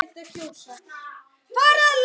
Hann pabbi er dáinn.